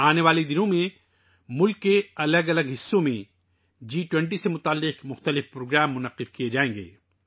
آنے والے دنوں میں ملک کے مختلف حصوں میں جی 20 سے متعلق بہت سے پروگرام منعقد کئے جائیں گے